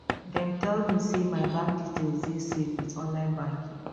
dem tell me sey my bank details dey safe wit online banking